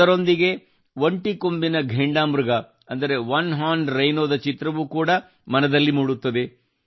ಅದರೊಂದಿಗೆ ಒಂದು ಕೊಂಬಿನ ಘೇಂಡಾ ಮೃಗ ಅಂದರೆ ಒನೆ ಹಾರ್ನ್ ರೈನೋ ದ ಚಿತ್ರವೂ ಕೂಡಾ ಮನದಲ್ಲಿ ಮೂಡುತ್ತದೆ